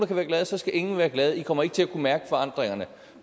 kan være glade så skal ingen være glade i kommer ikke til at kunne mærke forandringerne